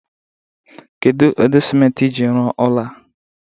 Kedu ụdị simenti iji rụọ ụnọ a?